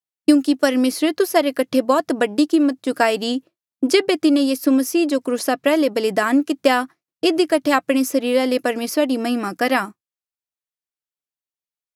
क्यूंकि परमेसरे तुस्सा रे कठे बौह्त बडी कीमत चुकाईरी जेबे तिन्हें यीसू मसीह जो क्रूसा प्रयाल्हे बलिदान कितेया इधी कठे आपणे सरीरा ले परमेसरा री महिमा करा